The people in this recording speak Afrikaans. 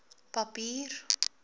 papier